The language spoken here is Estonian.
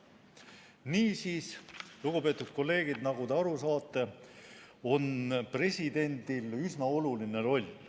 Niisiis, lugupeetud kolleegid, nagu te aru saate, on presidendil üsna oluline roll.